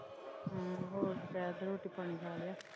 ਹਾਂ ਹੋਰ ਦੁਪਹਿਰ ਦਾ ਰੋਟੀ ਪਾਣੀ ਖਾ ਲਿਆ।